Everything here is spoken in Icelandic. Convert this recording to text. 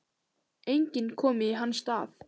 Enginn komi í hans stað.